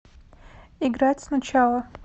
играть сначала